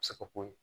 se ka k'o ye